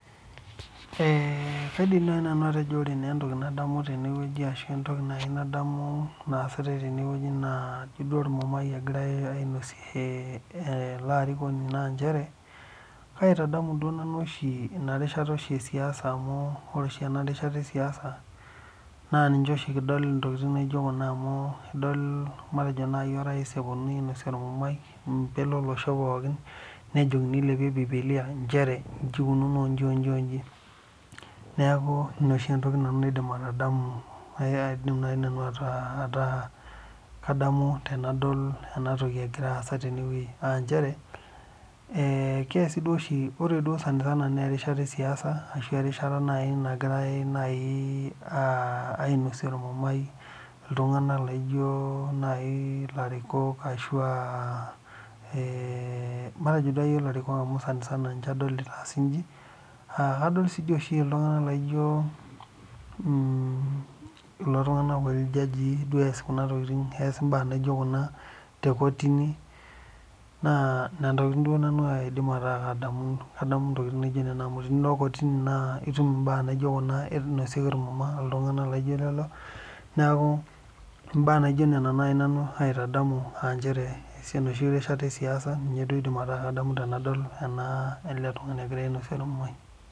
Ee kaidim nai nanu atejo ore naa entoki nadamu tene wueji ashu entoki nadamu naasitai tene wueji naa ijo ormumai egirai ainosie ee ele arikoni, naa inchere aitadamu duo nanu oshi ina rishata oshi e siasa, amu ore oshi ina rishata e siasa naa ninche oshi kidol intokitin naijo kuna amu adol matejo nai orais eponunui ainosie ormumai mbele olosho pookin, nejokini ilepie bibilia inchere inchi ikununo oo nchi oo nchi oo nchi. Neeku ina oshi entoki nanu naidim atadamu, ee aidim nanu ataa ataa kadamu tenadol ena toki egira aasa tene wuei, aa inchere ee keasi duo oshi ore duo sanisana naa erishata e siasa arashu erishata duo nai nagirai nai aa ainosie ormumai iltung'anak laijo nai ilarikok ashu aa ee matejo duo ake iyiok ilarikok amu sanisana inche adol itaasi inchi. Aa adol sii oshi iltung'anak laijo mm kulo tung'anak looji iljajii duo ees kuna tokitin, ees imbaa naijo kuna te kotini naa nena tokitin duo nanu naa aidim ataa kadamu kadamu intokitin naijo nena amu tenilo kotini naa itum imbaa naijo kuna inosieki irmuma iltung'anak laijo lelo. Neeku imbaa naijo nena nai nanu aitadamu aa inchere enoshi rishata e siasa ninye duo idim ataa kadamu tenadol ena ele tung'ani egira ainosie ormumai.